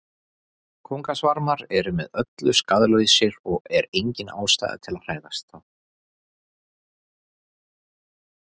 Kóngasvarmar eru með öllu skaðlausir og er engin ástæða til að hræðast þá.